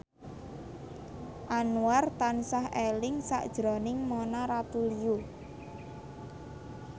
Anwar tansah eling sakjroning Mona Ratuliu